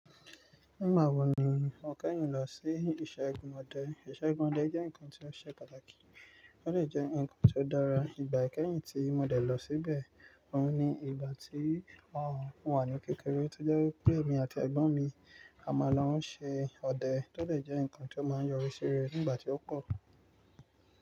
Nígbà wo ni wọn kẹ́yìn lọ sí iṣẹ́ gún ọdẹ? Ìṣẹ́ gún ọdẹ jẹ́ ǹkan tí ó ṣe pàtàkì, ó sì jẹ́ ǹkan tí ó dára. Ìgbà kẹ́yìn tí mo dẹ̀ lọ síbẹ̀, òun ni ìgbà tí wọn wà ní kékeré tí ó jẹ́ pé èmi àti ẹ̀gbọ́n mi a máa lọ ṣẹ́ ọdẹ, tó de jẹ́ ǹkan tí ó máa ń yọrí síre nígbà tí ó kọ̀.